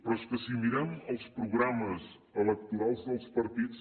però és que si mirem els programes electorals dels partits